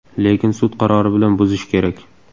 Lekin sud qarori bilan buzish kerak!